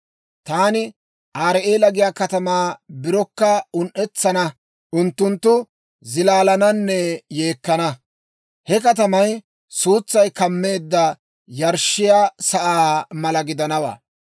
Taani Arii'eela giyaa katamaa birokka un"etsana; unttunttu zilaalananne yeekkana. He katamay suutsay kammeedda yarshshiyaa sa'aa mala gidanawaa.